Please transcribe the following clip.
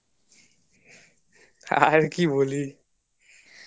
আর কি বলি